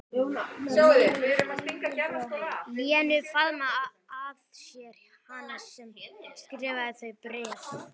Lenu, faðma að sér hana sem skrifaði þau bréf.